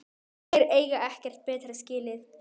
Þeir eiga ekkert betra skilið